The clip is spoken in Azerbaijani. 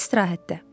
İstirahətdə.